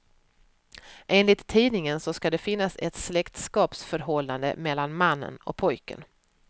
Enligt tidningen ska det finnas ett släktskapsförhållande mellan mannen och pojken.